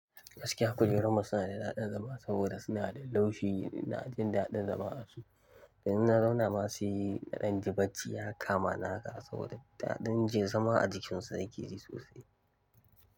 Gaskiya kujerun musuna da daɗin zama saboda suna da laushi ina jin daɗin zama a su. Yanzuna zaunama sai na danji bacci ya kamani haka sabida dadin yanzu ma ajikin su nake ji sosai.